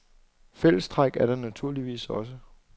Fællestræk er der naturligvis også.